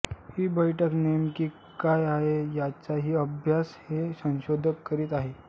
ही बैठक नेमकी काय आहे याचाही अभ्यास हे संशोधक करीत आहेत